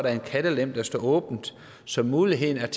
er en kattelem der står åben så muligheden